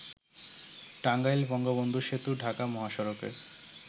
টাঙ্গাইল-বঙ্গবন্ধু সেতু-ঢাকা মহাসড়কে